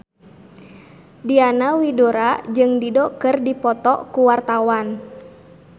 Diana Widoera jeung Dido keur dipoto ku wartawan